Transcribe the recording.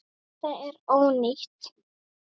Þetta er ónýtt.